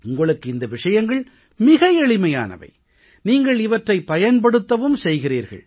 உங்களுக்கு இந்த விஷயங்கள் மிக எளிமையானவை நீங்கள் இவற்றைப் பயன்படுத்தவும் செய்கிறீர்கள்